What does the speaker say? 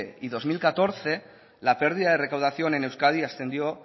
y dos mil catorce la pérdida de recaudación en euskadi ascendió